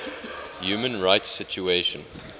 human rights situation